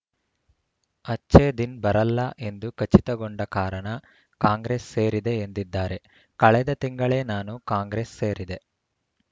ಅಚ್ಛೇ ದಿನ್‌ ಬರಲ್ಲ ಎಂದು ಖಚಿತಗೊಂಡ ಕಾರಣ ಕಾಂಗ್ರೆಸ್‌ ಸೇರಿದೆ ಎಂದಿದ್ದಾರೆ ಕಳೆದ ತಿಂಗಳೇ ನಾನು ಕಾಂಗ್ರೆಸ್‌ ಸೇರಿದೆ